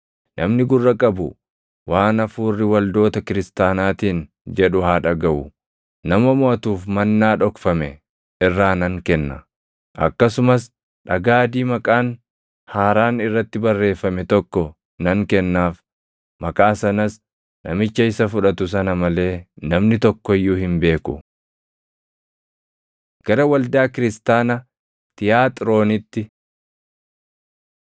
Namni gurra qabu waan Hafuurri waldoota kiristaanaatiin jedhu haa dhagaʼu. Nama moʼatuuf mannaa dhokfame irraa nan kenna. Akkasumas dhagaa adii maqaan haaraan irratti barreeffame tokko nan kennaaf; maqaa sanas namicha isa fudhatu sana malee namni tokko iyyuu hin beeku. Gara Waldaa Kiristaana Tiyaaxiroonitti